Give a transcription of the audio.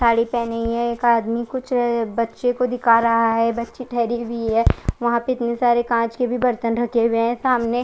साड़ी पहनी है एक आदमी कुछ बच्चो को दिखा रहा है बच्चे ठहरे भी है वहां पर इतने सारे कांच के भी बर्तन रखे है।